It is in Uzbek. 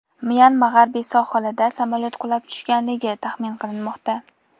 Myanma g‘arbiy sohilida samolyot qulab tushganligi taxmin qilinmoqda.